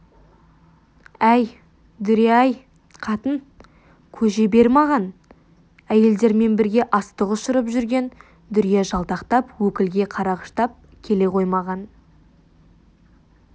әй дүрия әй қатын көже бер маған әйелдермен бірге астық ұшырып жүрген дүрия жалтақтап өкілге қарағыштап келе қоймаған